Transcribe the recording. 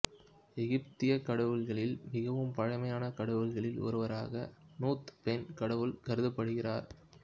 எகிப்தியக் கடவுள்களில் மிகவும் பழைய கடவுள்களில் ஒருவராக நூத் பெண் கடவுள் கருதப்படுகிறார்